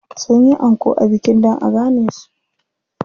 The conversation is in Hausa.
Sun yi anko a bikin dan a gane su.